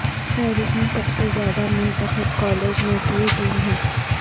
فہرست میں سب سے زیادہ منتخب کالج نوٹری ڈیم ہے